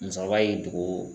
Musɔkɔba y'i dogo